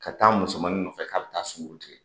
Ka taa musomannin nɔfɛ ka taa sunkurutigɛ